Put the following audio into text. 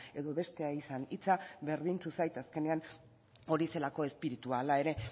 edo bestea izan hitza berdintsu zait azkenean hori zelako espiritua hala ere